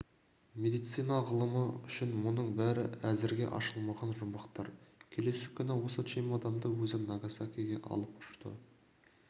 медицина ғылымы үшін мұның бәрі әзірге ашылмаған жұмбақтар келесі күні осы чемоданды өзі нагасакиге алып ұшты